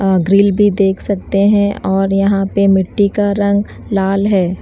अह grill भी देख सकते हैं और यहां पे मिट्टी का रंग लाल है।